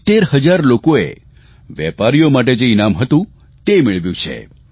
70 હજાર લોકોએ વેપારીઓ માટે જે ઇનામ હતું તે મેળવ્યું છે